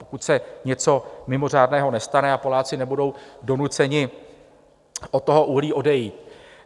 Pokud se něco mimořádného nestane a Poláci nebudou donuceni od toho uhlí odejít.